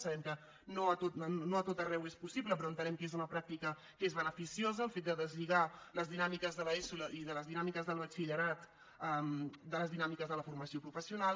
sabem que no a tot arreu és possible però entenem que és una pràctica que és beneficiosa el fet de deslligar les dinàmiques de l’eso i les dinàmiques del batxillerat de les dinàmiques de la formació professional